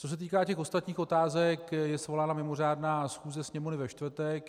Co se týká těch ostatních otázek, je svolána mimořádná schůze Sněmovny ve čtvrtek.